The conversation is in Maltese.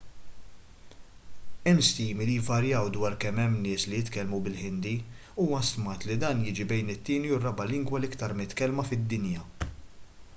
hemm stimi li jvarjaw dwar kemm hemm nies li jitkellmu bil-ħindi huwa stmat li dan jiġi bejn it-tieni u r-raba' lingwa l-aktar mitkellma fid-dinja